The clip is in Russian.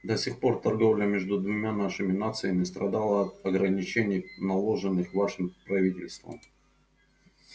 до сих пор торговля между двумя нашими нациями страдала от ограничений наложенных вашим правительством